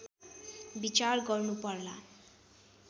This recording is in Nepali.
विचार गर्नुपर्ला